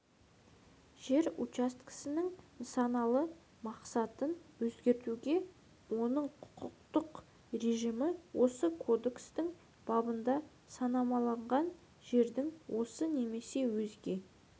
жер учаскесінің нысаналы мақсатын өзгертуге оның құқықтық режимі осы кодекстің бабында санамаланған жердің осы немесе өзге